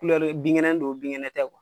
binkɛnɛ don binkɛnɛ tɛ